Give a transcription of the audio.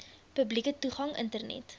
publieke toegang internet